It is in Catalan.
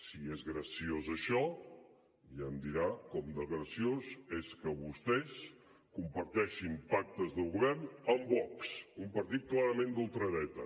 si és graciós això ja em dirà com de graciós és que vostès comparteixin pactes de govern amb vox un partit clarament d’ultradreta